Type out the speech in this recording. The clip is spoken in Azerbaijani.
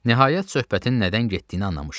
Nəhayət, söhbətin nədən getdiyini anlamışdım.